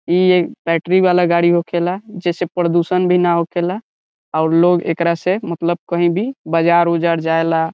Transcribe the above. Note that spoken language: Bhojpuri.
इ एक बैटरी वाला गाड़ी होखेला जिससे प्रदुषण भी ना होखेला और लोग एकरा से मतलब कहीं भी बज़ार-उजार जाएला।